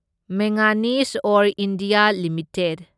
manganese ore India limited